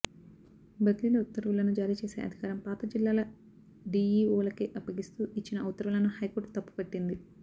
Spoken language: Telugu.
బదిలీల ఉత్తర్వులను జారీ చేసే అధికారం పాత జిల్లాల డీఈఓలకే అప్పగిస్తూ ఇచ్చిన ఉత్తర్వులను హైకోర్టు తప్పుపట్టింది